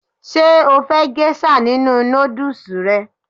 Ṣé o fẹ́ gésà nínu nódùsù rẹ?